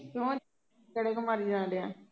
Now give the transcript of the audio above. ਕਿਉਂ ਗੇੜ੍ਹੇ ਕਿਉਂ ਮਾਰੀ ਜਾਣ ਡਿਆ